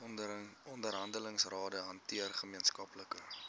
onderhandelingsrade hanteer gemeenskaplike